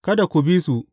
Kada ku bi su.